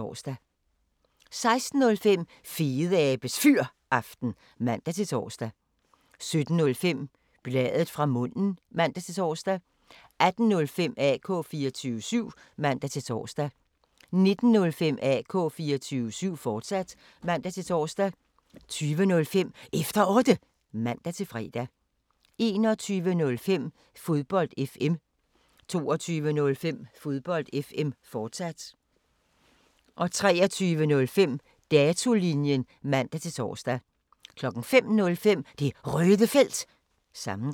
16:05: Fedeabes Fyraften (man-tor) 17:05: Bladet fra munden (man-tor) 18:05: AK 24syv (man-tor) 19:05: AK 24syv, fortsat (man-tor) 20:05: Efter Otte (man-fre) 21:05: Fodbold FM 22:05: Fodbold FM, fortsat 23:05: Datolinjen (man-tor) 05:05: Det Røde Felt – sammendrag